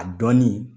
A dɔnni